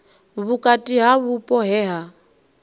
vhukati ha vhupo he ha